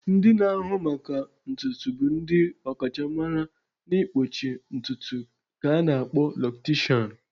Ndị na-ahụ maka ntutu bụ ndị ọkachamara n'ịkpọchi ntutu ka a na-akpọ locticians.